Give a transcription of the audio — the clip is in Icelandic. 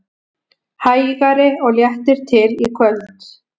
Hægari og léttir til í kvöld